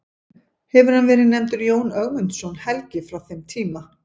Hefur hann verið nefndur Jón Ögmundsson helgi frá þeim tíma.